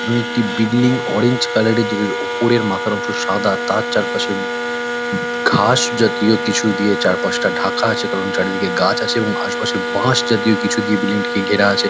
একটি building orange colour -এর যেটার ওপরের মাথার অংশ সাদা তার চারপাশে ঘাস জাতীয় কিছু দিয়ে চারপাশটা ঢাকা আছে। কারণ চারিদিকে গাছ আছে এবং আশেপাশে বাঁশ জাতীয় কিছু দিয়ে বিল্ডিং -টিকে ঘেরা আছে।